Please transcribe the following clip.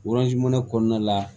kɔnɔna la